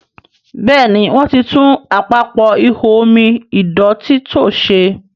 Béèni wón tí tún Àpapọ̀ ihò omi ìdọ̀tító ṣe.